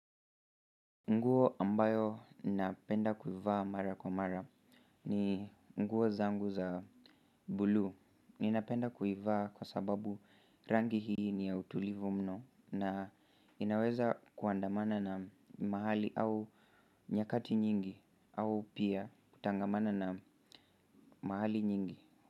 Nguo ambayo napenda kuivaa mara kwa mara ni nguo zangu za buluu ninapenda kuivaa kwa sababu rangi hii ni ya utulivu mno na inaweza kuandamana na mahali au nyakati nyingi au pia kutangamana na nyakati mingi.